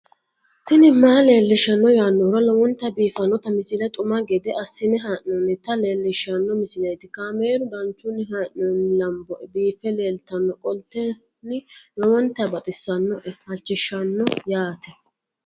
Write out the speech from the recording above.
tini maa leelishshanno yaannohura lowonta biiffanota misile xuma gede assine haa'noonnita leellishshanno misileeti kaameru danchunni haa'noonni lamboe biiffe leeeltannoqolten lowonta baxissannoe halchishshanno yaate